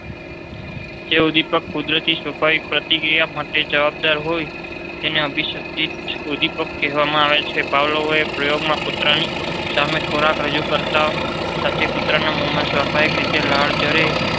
જે ઉદીપક કુદરતી સ્વાભાવિક પ્રતિક્રિયા માટે જવાબદાર હોય તેને અભિસંધિત ઉર્દીપક કહેવાય છે. પાવલોવત્તા પ્રયોગમાં નરાની સામે ખોરાક રજૂ કરતાની સાથે કૂતરાના મોંમાં સ્વાભાવિક રીતે લાળ ઝરે